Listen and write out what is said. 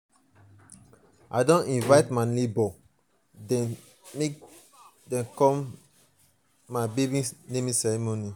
i don invite my nebors dem make dem come my um baby naming ceremony.